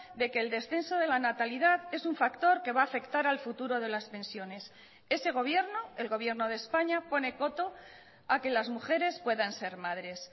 de que el descenso de la natalidad es un factor que va a afectar al futuro de las pensiones ese gobierno el gobierno de españa pone coto a que las mujeres puedan ser madres